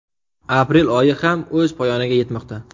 Aprel oyi ham o‘z poyoniga yetmoqda.